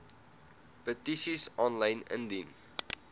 petisies aanlyn indien